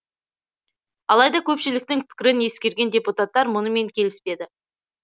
алайда көпшіліктің пікірін ескерген депутаттар мұнымен келіспеді